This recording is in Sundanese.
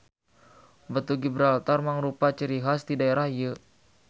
Batu Gibraltar mangrupa ciri has ti daerah ieu.